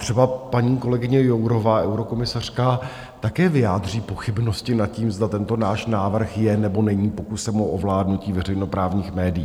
Třeba paní kolegyně Jourová, eurokomisařka, také vyjádří pochybnosti nad tím, zda tento náš návrh je, nebo není pokusem o ovládnutí veřejnoprávních médií.